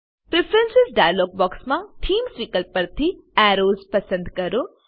preference dialogue box માં themes વિકલ્પ પરથી એરોઝ પસંદ કરો